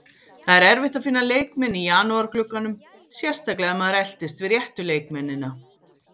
Það er erfitt að finna leikmenn í janúarglugganum, sérstaklega ef maður eltist við réttu leikmennina.